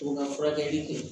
O ka furakɛli kɛ